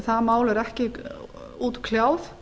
það mál er ekki útkljáð